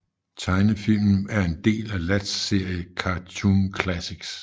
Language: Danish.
Tegnefilmen er en del af Latz serie Cartune Classics